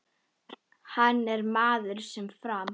Hann er maður sem fram